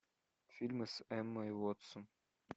фильмы с эммой уотсон